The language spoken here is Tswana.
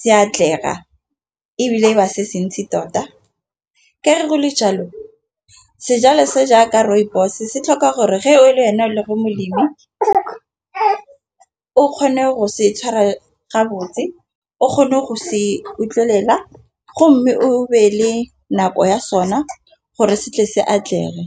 se atlega, ebile ba se se ntsi tota. Ke re go le jalo sejalo se jaaka rooibos se tlhoka gore ge o le wena o le mo molemi ga o kgone go se tshwara ga botse o kgone go se utlwelela, go mme o beele nako ya sona gore se tle se atlege.